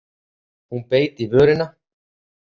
Hún beit í vörina.